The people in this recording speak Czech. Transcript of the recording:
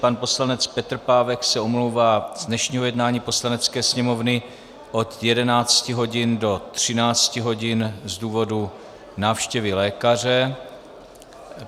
Pan poslanec Petr Pávek se omlouvá z dnešního jednání Poslanecké sněmovny od 11 hodin do 13 hodin z důvodu návštěvy lékaře.